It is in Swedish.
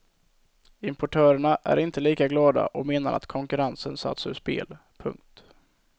Importörerna är inte lika glada och menar att konkurrensen satts ur spel. punkt